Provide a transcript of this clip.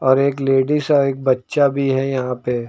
और एक लेडिस और एक बच्चा भी है यहां पे।